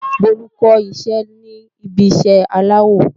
Bolu kó iṣẹ́ ní ibi iṣẹ́ aláwọ